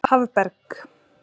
Hafberg